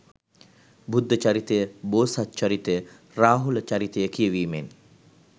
බුද්ධ චරිතය, බෝසත් චරිතය, රාහුල චරිතය කියවීමෙන්